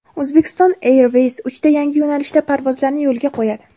Uzbekistan Airways uchta yangi yo‘nalishda parvozlarni yo‘lga qo‘yadi.